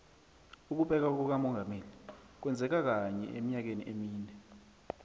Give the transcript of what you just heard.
ukubekwa kukamongameli kwenzeka kanye emnyakeni emine